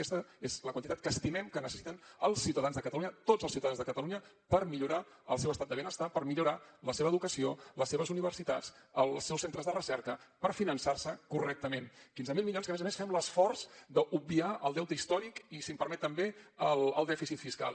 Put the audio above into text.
aquesta és la quantitat que estimem que necessiten els ciutadans de catalunya tots els ciutadans de catalunya per millorar el seu estat de benestar per millorar la seva educació les seves universitats els seus centres de recerca per finançar se correctament quinze mil milions que a més a més fem l’esforç d’obviar el deute històric i si em permet també el dèficit fiscal